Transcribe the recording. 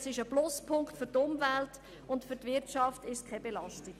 Er ergibt einen Pluspunkt für die Umwelt und belastet die Wirtschaft nicht.